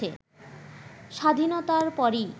স্বাধীনতার পরই